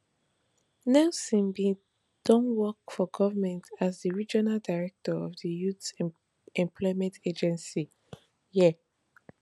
nelson bin don work for goment as di regional director of di youth employment agency yea